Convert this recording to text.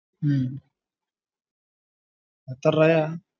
ഹും എത്രരൂപയാ